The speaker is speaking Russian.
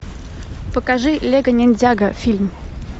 покажи лего ниндзяго фильм